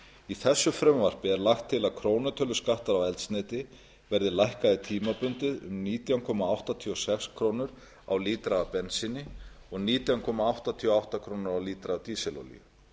í þessu frumvarpi er lagt er til að krónutöluskattar á eldsneyti verði lækkaðir tímabundið um nítján komma áttatíu og sex krónur á lítra af bensíni og nítján komma áttatíu og átta krónur á lítra af dísilolíu